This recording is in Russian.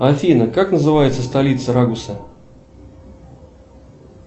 афина как называется столица рагуса